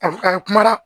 A fɔ ka kuma na